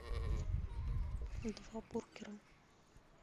два бургера